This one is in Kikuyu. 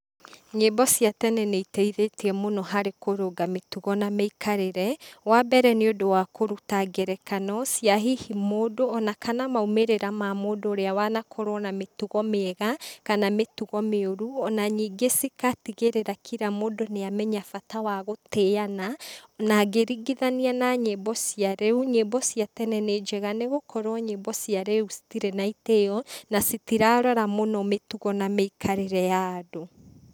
Nyĩmbo cia tene nĩ iteithĩtie mũno harĩ kũrũnga mĩtugo na mĩikarĩre, wa mbere nĩũndũ wa kuruta ngerekano cia hihi mũndũ ona kana maumĩrĩra ma mũndũ ũrĩa wanakorwo na mĩtugo mĩega, kana mĩtugo mĩũru, ona ningĩ cigatigĩrĩra kĩra mũndũ nĩamenya bata wa gũtĩana, na ngĩringithana na nyimbo cia rĩũ, nyĩmbo cia tene nĩ njega, nĩgũkorwo nyĩmbo cia rĩũ citirĩ na itĩo, na citirarora mũno mĩtugo na mĩikarĩre ya andũ.